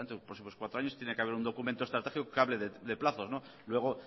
los próximos cuatro años tiene que haber un documento estratégico que hable de plazos luego